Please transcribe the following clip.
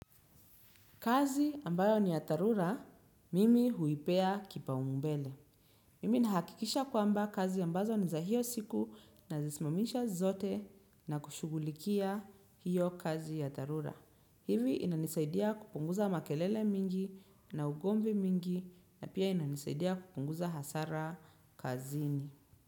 Kazi ambayo ni ya dharura, mimi huipea kipaumbele. Mimi nahakikisha kwamba kazi ambazo ni za hiyo siku nazisimamisha zote na kushughulikia hiyo kazi ya dharura. Hivi inanisaidia kupunguza makelele mingi na ugomvi mingi na pia inanisaidia kupunguza hasara kazini.